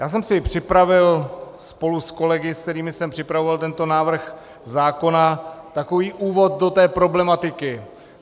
Já jsem si připravil spolu s kolegy, se kterými jsem připravoval tento návrh zákona, takový úvod do té problematiky.